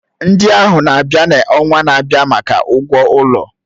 Ndị ahụ na-abịa n'ọnwa na-abịa maka ụgwọ ụlọ.